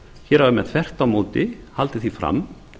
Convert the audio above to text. hér hafa menn vel á móti haldið því fram